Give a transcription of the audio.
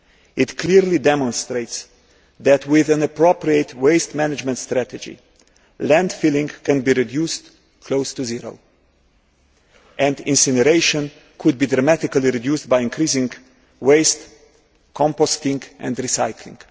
It clearly demonstrates that with an appropriate waste management strategy, landfilling can be reduced close to zero and that incineration could be dramatically reduced by increasing waste composting and recycling.